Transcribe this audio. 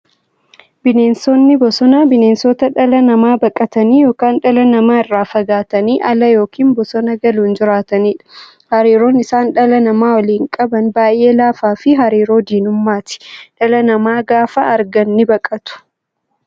Bineensonni bosonaa bineensota dhala namaa baqatanii yookiin dhala namaa irraa fagaatanii ala yookiin bosona galuun jiraataniidha. Hariiroon isaan dhala namaa waliin qaban baay'ee laafaafi hariiroo diinummaati. Dhala namaa gaafa argan nibaqatu.